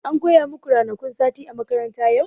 An koya maku ranakun sati a makaranta yau?